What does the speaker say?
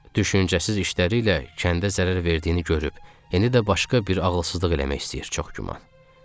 Düşüncəsiz işləri ilə kəndə zərər verdiyini görüb, indi də başqa bir ağılsızlıq eləmək istəyir, çox güman.